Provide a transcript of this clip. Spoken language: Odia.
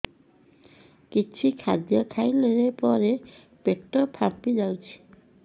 କିଛି ଖାଦ୍ୟ ଖାଇଲା ପରେ ପେଟ ଫାମ୍ପି ଯାଉଛି